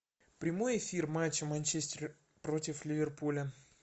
прямой эфир матча манчестер против ливерпуля